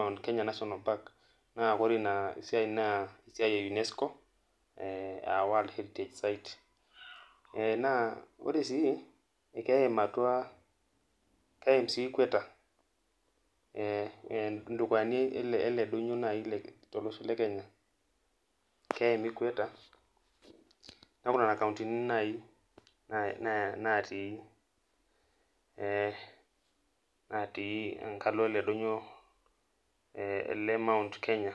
mount Kenya national park naa ore ina siiai naa esiaai UNESCO ee world in site ore sii keim atua keim sii equater indukuyani ele donyio lekenya nee N nena countini naaim enkalo ele donyio ele mount Kenya.